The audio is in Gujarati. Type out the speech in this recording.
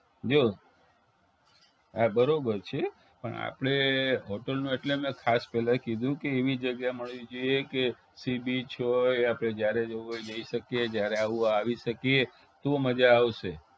જો હા બરોબર છે પણ આપણે hotel માં એટલે મેં ખાસ પેલા કીધું કે એવી જગ્યા મળવી જોઈએ કે sea beach હોય આપણે જયારે જવું હોઈ જઈ શકીએ જયારે આવું હોય આવી શકીએ તો મજા આવશે